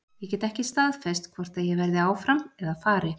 Ég get ekki staðfest hvort að ég verði áfram eða fari.